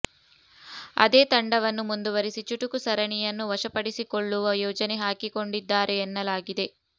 ಅದೇ ತಂಡವನ್ನು ಮುಂದುವರಿಸಿ ಚುಟುಕು ಸರಣಿಯನ್ನು ವಶಪಡಿಸಿಕೊಳ್ಳುವ ಯೋಜನೆ ಹಾಕಿಕೊಂಡಿದ್ದಾರೆ ಎನ್ನಲಾಗಿದೆ